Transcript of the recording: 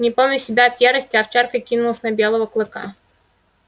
не помня себя от ярости овчарка кинулась на белого клыка